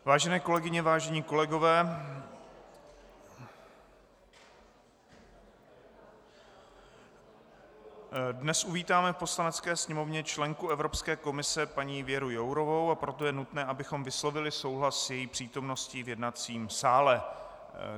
Vážené kolegyně, vážení kolegové, dnes uvítáme v Poslanecké sněmovně členku Evropské komise paní Věru Jourovou, a proto je nutné, abychom vyslovili souhlas s její přítomností v jednacím sále.